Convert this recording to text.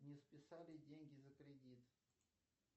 не списали деньги за кредит